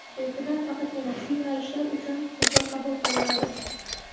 ertadan faqatgina shu yo‘nalishlari uchun hujjatlar qabul qilinadi.